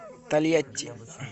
тольятти